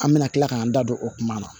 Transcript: An bɛna kila k'an da don o kuma na